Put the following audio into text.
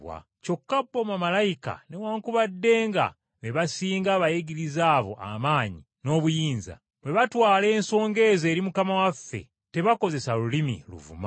Kyokka bo bamalayika newaakubadde be basinga abayigiriza abo amaanyi n’obuyinza, bwe batwala ensonga ezo eri Mukama waffe tebakozesa lulimi luvuma.